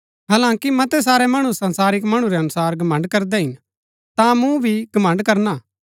हालांकि मतै सारै मणु संसारिक मणु रै अनुसार घमण्ड़ करदै हिन ता मूँ भी घमण्ड़ करणा